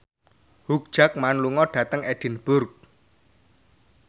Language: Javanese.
Hugh Jackman lunga dhateng Edinburgh